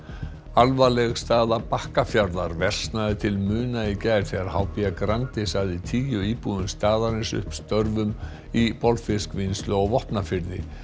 alvarleg staða Bakkafjarðar versnaði til muna í gær þegar h b Grandi sagði tíu íbúum staðarins upp störfum í bolfiskvinnslu á Vopnafirði